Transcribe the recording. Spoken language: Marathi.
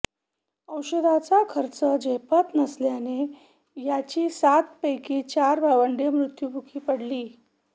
औषधांचा खर्च झेपत नसल्याने यांची सातपैकी चार भावंडे मृत्युमुखी पडली